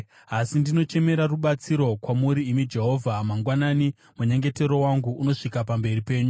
Asi ndinochemera rubatsiro kwamuri, imi Jehovha; mangwanani, munyengetero wangu unosvika pamberi penyu.